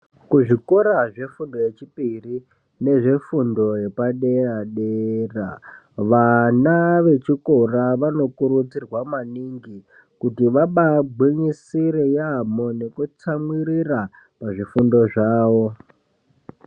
Kuzvikora zvefundo yechipiri nezvefundo yepadera-dera, vana vechikora vanokurudzirwa maningi ,kuti vabagwinyisire yamho nokutsamwirira muzvifundo zvavo.